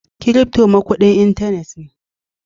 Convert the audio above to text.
Crypto ma kudin intanet ne.